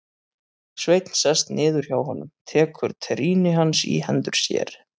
Sveinn sest niður hjá honum, tekur trýni hans í hendur sér.